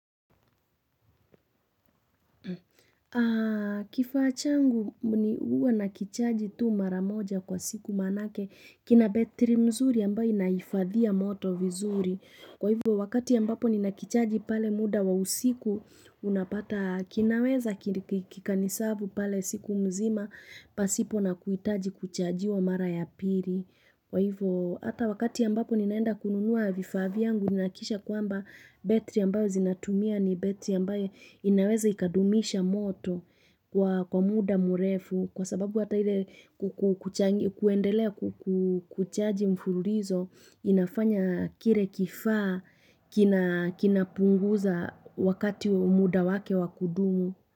Kifaa changu ni huwa na kichaji tu mara moja kwa siku manake kina betri mzuri ambayo inahifadhia moto vizuri Kwa hivyo wakati ambapo ninakichaji pale muda wa usiku Unapata kinaweza kikani-serve pale siku mzima pasipo na kuitaji kuchajiwa mara ya pili Kwa hivyo hata wakati ambapo ninaenda kununua vifaa vyangu Ninahakikisha kwamba betri ambayo zinatumia ni betri ambayo inaweza ikadumisha moto kwa muda murefu kwa sababu hata ile kuendelea kuchaji mfululizo inafanya kile kifaa kinapunguza wakati muda wake wakudumu.